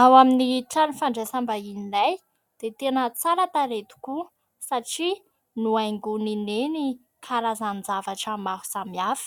Ao amin'ny trano fandraisam-bahininay dia tena tsara tarehy tokoa satria nohaingon'i neny karazan-javatra maro samihafa.